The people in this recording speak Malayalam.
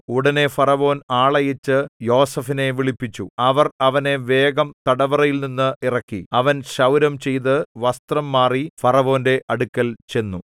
ഉടനെ ഫറവോൻ ആളയച്ച് യോസേഫിനെ വിളിപ്പിച്ചു അവർ അവനെ വേഗം തടവറയിൽനിന്ന് ഇറക്കി അവൻ ക്ഷൗരം ചെയ്ത് വസ്ത്രം മാറി ഫറവോന്റെ അടുക്കൽ ചെന്നു